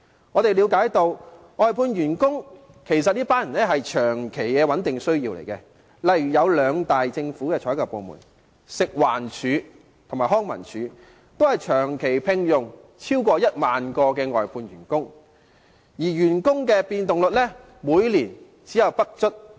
我們了解到，外判員工其實是有其長期穩定的需要，例如政府兩大採購部門，即食物環境衞生署和康樂及文化事務署，均長期聘用超過1萬名外判員工，而員工的變動率每年不足 5%。